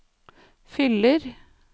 fyller